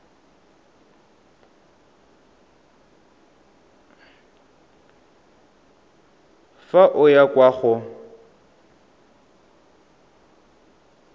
fa o ya kwa go